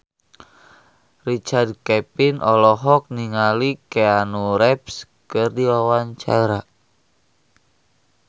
Richard Kevin olohok ningali Keanu Reeves keur diwawancara